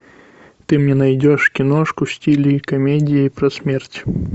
ты мне найдешь киношку в стиле комедии про смерть